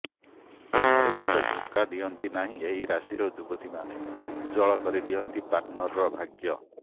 ପ୍ରେମରେ କେବେ ଧୋକା ଦିଅନ୍ତି ନାହିଁ ଏହି ରାଶିର ଯୁବତୀମାନେ ଉଜ୍ଜ୍ବଳ କରିଦିଅନ୍ତି ପାର୍ଟନରର ଭାଗ୍ୟ